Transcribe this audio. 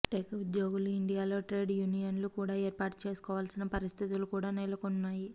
tech ఉద్యోగులు ఇండియాలో trade యూనియన్లు కూడ ఏర్పాటు చేసుకోవాల్సిన పరిస్థితులు కూడ నెలకొన్నాయి